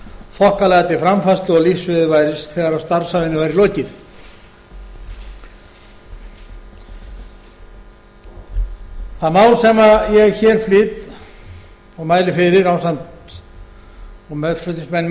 þokkalega til framfærslu og lífsviðurværis þegar starfsævinni væri lokið það mál sem ég hér flyt og mæli fyrir og meðflutningsmenn